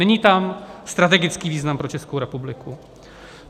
Není tam strategický význam pro Českou republiku.